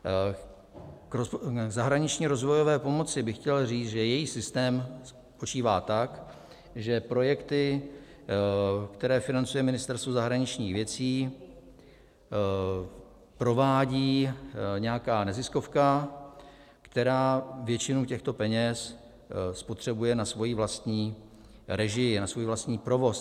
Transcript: K zahraniční rozvojové pomoci bych chtěl říct, že její systém spočívá tak, že projekty, které financuje Ministerstvo zahraničních věcí, provádí nějaká neziskovka, která většinu těchto peněz spotřebuje na svoji vlastní režii, na svůj vlastní provoz.